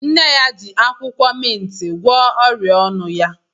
Nne ya ji akwụkwọ mintị gwọọ ọrịa ọnụ ya.